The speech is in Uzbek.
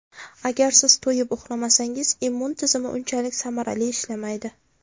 Agar siz to‘yib uxlamasangiz immun tizimi unchalik samarali ishlamaydi.